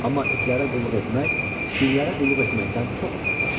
Amma itlərə qulluq etmək, pişiklərə qulluq etməkdən çox asandır.